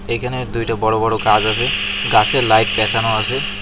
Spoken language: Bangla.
এখানে দুইটা বড়ো বড়ো গাছ আছে গাছে লাইট প্যাচানো আছে।